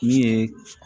Min ye